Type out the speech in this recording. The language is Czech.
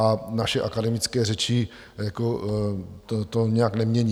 A naše akademické řeči to nijak nemění.